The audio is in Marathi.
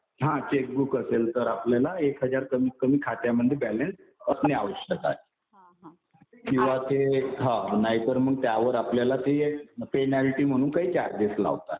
हा. चेकबुक असेल तर आपल्याला एक हजार रुपये कमीतकमी खात्यामध्ये बॅलन्स असणे आवश्यक आहे. किंवा ते हा नाहीतर त्यावर आपल्याला ते पेनॉल्टी म्हणून काही चार्जेस लावतात.